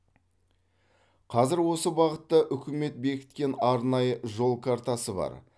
қазір осы бағытта үкімет бекіткен арнайы жол картасы бар